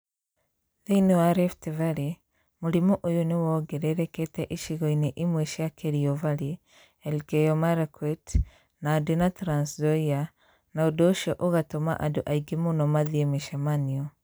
Thĩinĩ wa rifti varĩĩ, mũrimũ ũyũ nĩ wongererekete icigo-inĩ imwe cia Kerio Valley, Elgeyo Marakwet , Nandi na Trans Nzoia, na ũndũ ũcio ũgatũma andũ aingĩ mũno mathiĩ mĩcemanio.